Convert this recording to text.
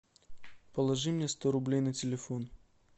положи мне сто рублей на телефон